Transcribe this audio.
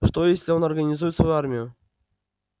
что если он организует свою армию